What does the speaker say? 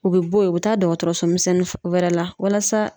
U bɛ bɔ ye u bɛ taa dɔgɔtɔrɔso misɛnnin wɛrɛ la walasa